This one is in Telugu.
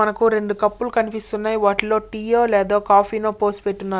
మనకు రెండు కప్పులు కనిపిస్తున్నాయి. వాటిలో టీ ఓ లేదో కాఫీ ఓ పోసి పెట్టి ఉన్నారు.